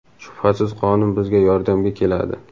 shubhasiz qonun bizga yordamga keladi.